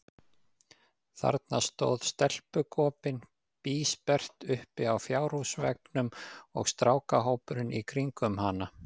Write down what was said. Þarna stóð stelpugopinn bísperrt uppi á fjárhúsveggnum, og strákahópurinn í kringum hana.